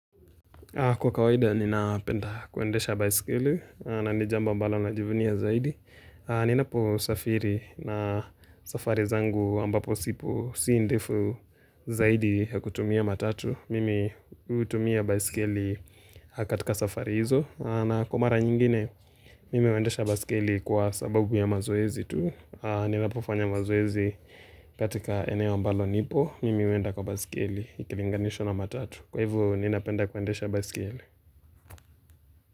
Kwa kawaida ninapenda kuendesha bicycle na ni jambo ambalo najivunia zaidi Ninapo safiri na safari zangu ambapo sipo si ndefu zaidi ya kutumia matatu Mimi hutumia bicycle katika safari hizo na kwa mara nyingine mimi huendesha bicycle kwa sababu ya mazoezi tu Ninapofanya mazoezi katika eneo ambalo nipo Mimi huenda kwa bicycle ikilinganishwa na matatu Kwa hivyo ninapenda kuendesha baiskeli.